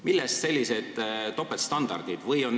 Millest sellised topeltstandardid?